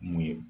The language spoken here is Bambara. Mun ye